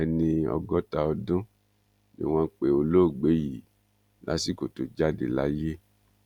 ẹni ọgọta ọdún ni wọn pe olóògbé yìí lásìkò tó jáde láyé